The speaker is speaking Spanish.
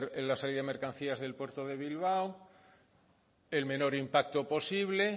la salida de mercancías del puerto de bilbao el menor impacto posible